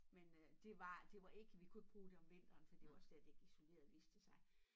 Men øh det var det var ik vi kunne ikke bruge det om vinteren for det var slet ikke isoleret viste det sig